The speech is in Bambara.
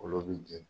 Olu bi jeni